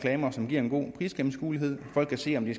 reducere det